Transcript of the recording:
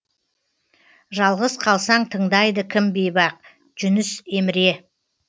жалғыз қалсаң тыңдайды кім бейбақ жүніс еміре